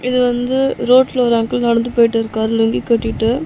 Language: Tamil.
இது வந்து ரோட்ல ஒரு அங்கிள் நடந்து போயிட்டிருக்காரு லுங்கி கட்டிட்டு.